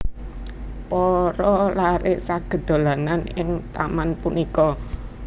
Para laré saged dolanan ing taman punika